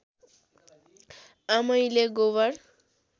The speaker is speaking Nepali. आमैले गोबर